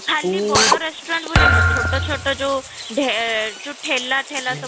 ଖାଲି ବଡ restaurant ବୋଲି ନୁହଁ ଛୋଟ ଛୋଟ ଯଉ ଢ଼େ ଯଉ ଠେଲା ସବୁ